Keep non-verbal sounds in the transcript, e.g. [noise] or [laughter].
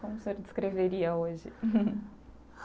Como o senhor descreveria hoje? [laughs]